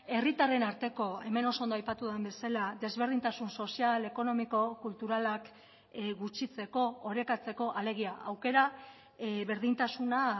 herritarren arteko hemen oso ondo aipatu den bezala desberdintasun sozial ekonomiko kulturalak gutxitzeko orekatzeko alegia aukera berdintasuna